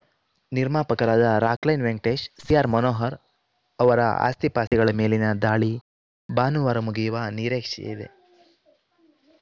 ನಿರ್ಮಾಪಕರಾದ ರಾಕ್‌ಲೈನ್‌ ವೆಂಕಟೇಶ್‌ ಸಿಆರ್‌ಮನೋಹರ್‌ ಅವರ ಆಸ್ತಿಪಾಸ್ತಿಗಳ ಮೇಲಿನ ದಾಳಿ ಭಾನುವಾರ ಮುಗಿಯುವ ನಿರೀಕ್ಷೆಯಿದೆ